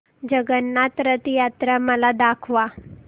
जगन्नाथ रथ यात्रा मला दाखवा